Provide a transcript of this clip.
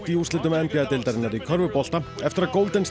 úrslitum n b a deildarinnar í körfubolta eftir að